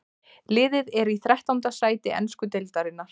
Liðið er í þrettánda sæti ensku deildarinnar.